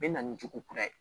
Bɛ na ni jugu kura ye